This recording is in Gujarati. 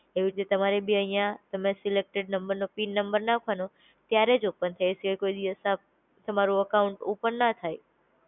એવી રીતે તમારે બી અઇયા, તમે સિલેકટેડ નંબર નો પિન નંબર નાખવાનું ત્યારેજ ઓપન થાય એ સિવાય કોઈ દિવસ આપ તમારું અકાઉન્ટ ઓપન ન થાય